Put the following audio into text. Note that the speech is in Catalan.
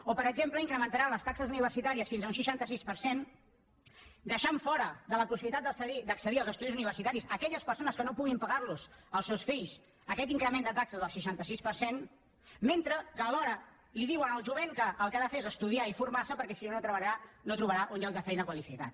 o per exemple incrementaran les taxes universitàries fins a un seixanta sis per cent i deixaran fora de la possibilitat d’accedir als estudis universitaris aquelles persones que no puguin pagar als seus fills aquest increment de taxes del seixanta sis per cent mentre que alhora li diuen al jovent que el que ha de fer és estudiar i formar se perquè si no no trobarà un lloc de feina qualificat